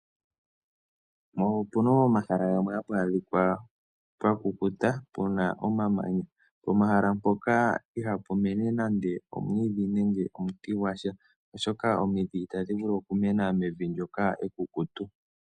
Opena omahala gamwe hapu adhika pwamukuta pomahala moka ihapu mena nande omwiidhi gwasha oshoka omidhi itadhi vulu okumena mevi moka ekukutu.